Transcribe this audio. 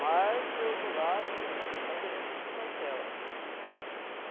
Mas, pelo outro lado, nós devemos ter cautela.